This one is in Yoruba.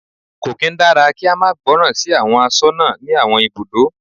Kò kín dára kí á máa gbọ́ràn sí àwọn aṣọ́nà ní àwọn ibùdó.